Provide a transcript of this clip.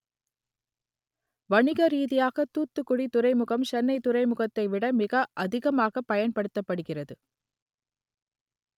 வணிக ரீதியாக தூத்துக்குடி துறைமுகம் சென்னை துறைமுகத்தை விட மிக அதிகமாக பயன்படுத்தப்படுகிறது